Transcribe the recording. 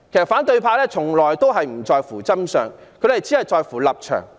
反對派從來不在乎真相，只在乎立場。